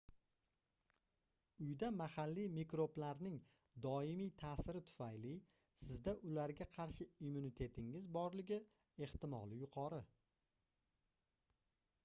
uyda mahalliy mikroblarning doimiy taʼsiri tufayli sizda ularga qarshi immunitetingiz borligi ehtimoli yuqori